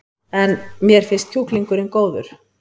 En: Mér finnst kjúklingurinn góður?